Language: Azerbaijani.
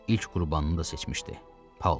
İlk qurbanını da seçmişdi.